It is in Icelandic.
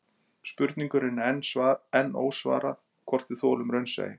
Spurningunni er enn ósvarað hvort við þolum raunsæi